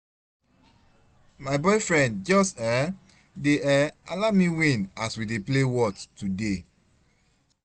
My boyfriend just um dey um allow me win as we dey play whot today